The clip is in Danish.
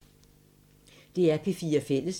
DR P4 Fælles